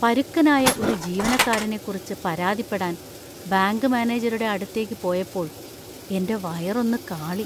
പരുക്കനായ ഒരു ജീവനക്കാരനെക്കുറിച്ച് പരാതിപ്പെടാൻ ബാങ്ക് മാനേജരുടെ അടുത്തേക്ക് പോയപ്പോൾ എന്‍റെ വയർ ഒന്ന് കാളി .